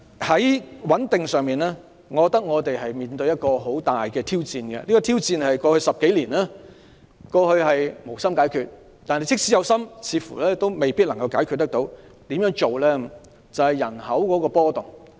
在穩定方面，我們面對很大的挑戰，在過去10多年，當局無心解決這挑戰，即使有心，似乎也未必能夠解決，這挑戰便是人口的波動。